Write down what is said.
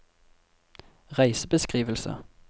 reisebeskrivelse